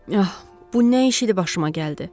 Ax, bu nə iş idi başıma gəldi.